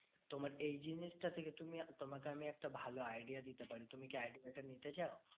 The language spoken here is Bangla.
তোমার এই জিনিসটা থেকে তুমি, তোমাকে আমি একটা ভালো idea দিতে পারি? তুমি কি idea টা নিতে চাও?